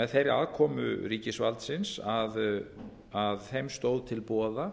með þeirri aðkomu ríkisvaldsins að þeim stóð til boða